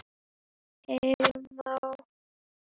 Heyra má